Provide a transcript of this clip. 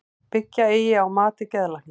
Byggja eigi á mati geðlækna